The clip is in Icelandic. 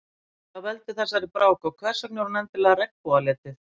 Hvað veldur þessari brák og hversvegna er hún endilega regnbogalituð?